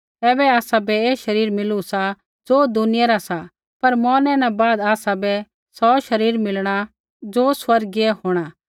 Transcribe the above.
ऐबै आसाबै ऐ शरीर मिलू सा ज़ो दुनिया रा सा पर मौरनै न बाद आसाबै सौ शरीर मिलणा ज़ो स्वर्गीय होंणा